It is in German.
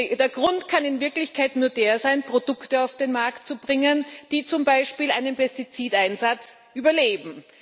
Der Grund kann in Wirklichkeit nur der sein, Produkte auf den Markt zu bringen, die zum Beispiel einen Pestizideinsatz überleben.